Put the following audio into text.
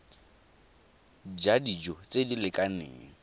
ja dijo tse di lekaneng